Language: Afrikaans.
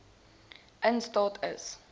in staat is